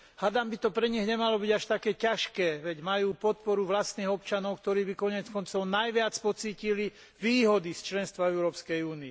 Hádam by to pre nich nemalo byť až také ťažké, veď majú podporu vlastných občanov, ktorí by koniec koncom najviac pocítili výhody z členstva v EÚ.